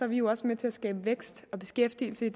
vi jo også med til at skabe vækst og beskæftigelse